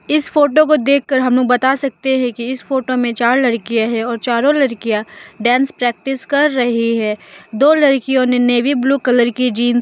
इस फोटो को देख कर हम लोग बता सकते हैं कि इस फोटो में चार लड़कियां है और चारों लड़कियां डांस प्रैक्टिस कर रही है दो लड़कियों ने नेवी ब्लू कलर की जींस --